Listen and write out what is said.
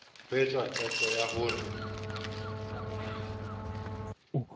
ho etswa qeto ya hore